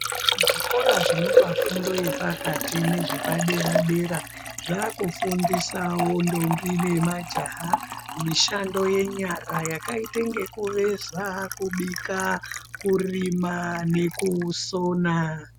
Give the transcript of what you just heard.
Zvikora zvinopa fundo yepakati nezvepadera-dera zvakufundisawo ndombi nemajaha mishando yenyara yakaite ngekuveza, kubika, kurima nekusona.